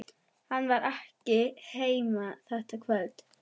Hann var ekki heima þetta kvöld.